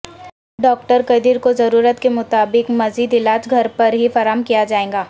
doctor Qadeer کوضرورت کے مطابق مزید علاج گھر پر ہی فراہم کیاجائے گا